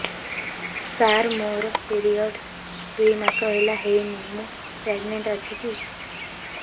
ସାର ମୋର ପିରୀଅଡ଼ସ ଦୁଇ ମାସ ହେଲା ହେଇନି ମୁ ପ୍ରେଗନାଂଟ ଅଛି କି